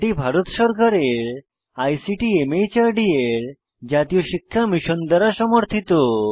এটি ভারত সরকারের আইসিটি মাহর্দ এর জাতীয় শিক্ষা মিশন দ্বারা সমর্থিত